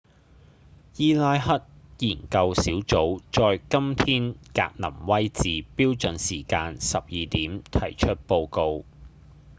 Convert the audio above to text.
伊拉克研究小組在今天格林威治標準時間12點提出報告